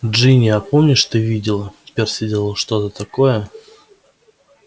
джинни а помнишь ты видела перси делал что-то такое